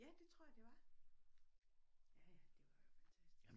Ja det tror jeg det var ja ja det var jo fantastisk